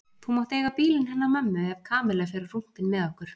Þú mátt eiga bílinn hennar mömmu ef Kamilla fer á rúntinn með okkur